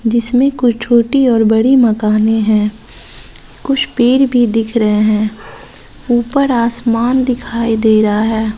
जिसमें कोई छोटी और बड़ी मकाने है कुछ पेड़ भी दिख रहे हैं ऊपर आसमान दिखाई दे रहा है।